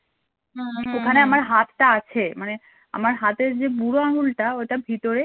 হাতটা আছে মানে আমার হাতের যে বুড়ো আঙুলটা ওটা ভিতরে